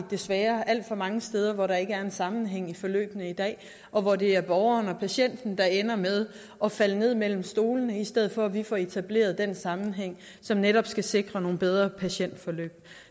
desværre alt for mange steder hvor der ikke er en sammenhæng i forløbene i dag og hvor det er borgeren og patienten der ender med at falde ned mellem stolene i stedet for at vi får etableret den sammenhæng som netop skal sikre nogle bedre patientforløb